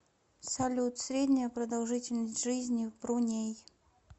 салют средняя продолжительность жизни в бруней